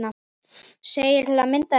segir til að mynda þetta